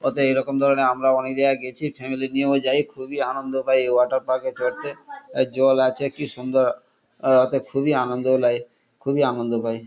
অতএব এরকম ধরণের আমরাও অনেক জায়গায় গেছি এবং ফ্যামিলি নিয়েও যাই. খুবই আনন্দ পাই এই ওয়াটার পার্ক - এ চড়তে। আ জল আছে কি সুন্দর! অতএব খুবই আনন্দ লাগে। খুবই আনন্দ পাই ।